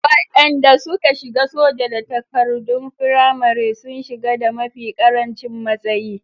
Waɗanda suka shiga soja da takardon firamare sun shiga da mafi ƙarancin matsayi.